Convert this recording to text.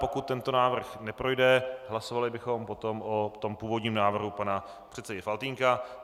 Pokud tento návrh neprojde, hlasovali bychom potom o tom původním návrhu pana předsedy Faltýnka.